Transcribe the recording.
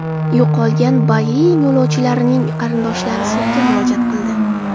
Yo‘qolgan Boeing yo‘lovchilarining qarindoshlari sudga murojaat qildi.